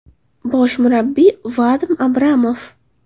Bosh murabbiy: Vadim Abramov.